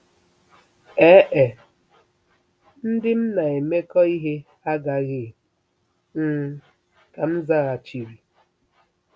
Ee e, ndị m na-emekọ ihe agaghị, um ka m zaghachiri.